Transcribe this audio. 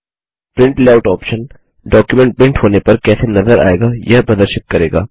print layout option document print होने पर कैसे नज़र आएगा यह प्रदर्शित करेगा